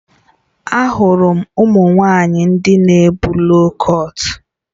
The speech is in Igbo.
M hụrụ ụmụ nwanyị ndị na ebu loo kọt